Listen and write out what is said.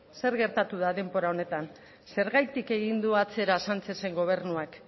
zer gertatu da denbora honetan zergatik egin du atzera sánchezen gobernuak